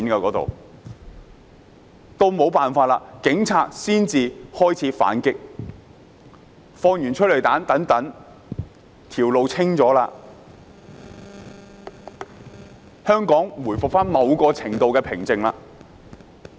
警察沒有辦法，才開始反擊，施放催淚彈，清了道路後，香港回復某程度的平靜。